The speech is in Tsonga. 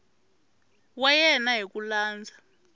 wa yena hi ku landza